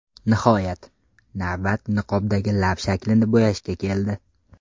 Nihoyat, navbat niqobdagi lab shaklini bo‘yashga keldi.